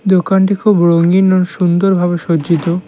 দোকানটি খুব রঙিন ও সুন্দরভাবে সজ্জিত।